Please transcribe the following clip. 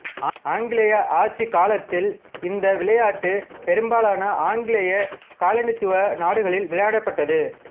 ஆங்கிலேய ஆட்சி காலத்தில் இந்த விளையாட்டு பெரும்பாலான ஆங்கிலேய காலனித்துவ நாடுகளில் விளையாடப்பட்டது